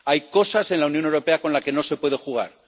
Hay cosas en la Unión Europea con las que no se puede jugar.